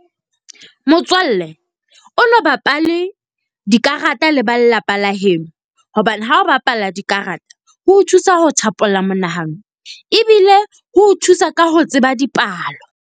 Motswalle, o no bapale dikarata le ba lelapa la heno hobane ha o bapala dikarata ho o thusa ho thapolla monahano. Ebile ho thusa ka ho tseba dipalo.